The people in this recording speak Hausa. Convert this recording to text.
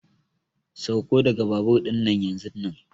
Sauko daga babur dinnan yanzunnan!